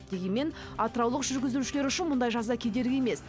дегенмен атыраулық жүргізушілер үшін мұндай жаза кедергі емес